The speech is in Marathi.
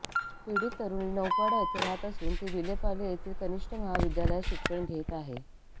पीडित तरुणी नौपाडा येथे राहत असून ती विले पार्ले येथील कनिष्ठ महाविद्यालयात शिक्षण घेत आहे